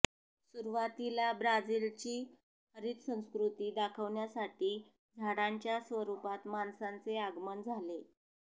सुरुवातीला ब्राझीलची हरित संस्कृती दाखवण्यासाठी झाडांच्या स्वरुपात माणसांचे आगमन झाले